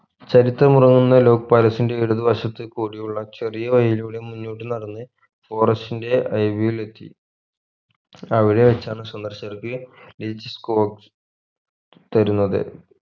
ചരിത്രമുറങ്ങുന്ന ലോക്‌ palace ന്റെ ഇടതുവശത്ത് കൂടിയുള്ള ചെറിയവഴിലൂടെ മുന്നോട്ട് നടന്ന് forest ന്റെ അരികിലെത്തി അവിടെ വെച്ചാണ് സന്ദർശകർക്ക് തരുന്നത്